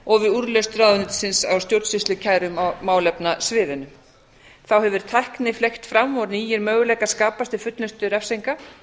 og við úrlausn ráðuneytisins á stjórnsýslukærum á málefnasviðinu þá hefur tækni fleygt fram og nýir möguleikar skapast við fullnustu refsinga